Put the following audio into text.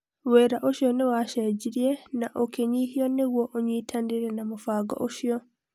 Wĩra ũcio nĩ waacenjirie na ũkĩnyihio nĩguo ũnyitanĩre na mũbango ũcio.